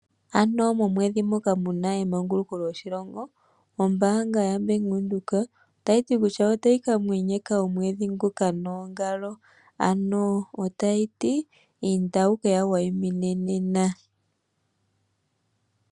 Ano momwedhi moka mu na emanguluko lyoshilongo, ombaanga yaBank Windhoek ota yj ti kutya ota yi ka mwenyeka omwedhi nguka noongalo, ano ota yi ti inda wu ke ya wayimine nena.